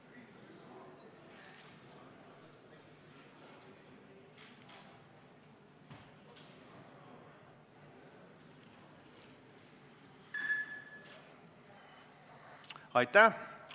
Hääletustulemused Aitäh!